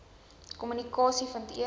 kompetisie vind eers